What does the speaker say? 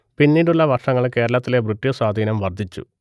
പിന്നീടുള്ള വർഷങ്ങളിൽ കേരളത്തിലെ ബ്രിട്ടീഷ് സ്വാധീനം വർദ്ധിച്ചു